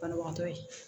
Banabagatɔ ye